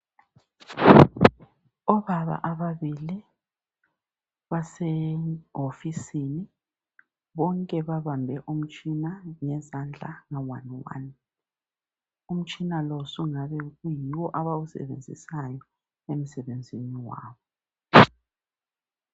Obaba ababili basehofisini bonke babambe umtshina ngezandla nga one one umtshina lo sungabe kuyiwo abawusebenzisayo emsebenzini wabo .